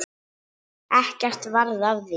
Ekkert varð af því.